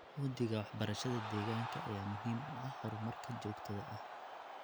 Uhdhigga waxbarashada deegaanka ayaa muhiim u ah horumarka joogtada ah.